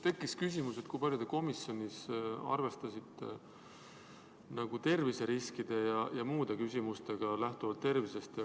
Tekkis küsimus, kui palju te komisjonis arvestasite terviseriskide ja muude terviseküsimustega.